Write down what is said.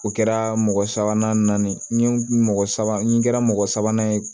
O kɛra mɔgɔ sabanan ye n ye mɔgɔ sabanan n kɛra mɔgɔ sabanan ye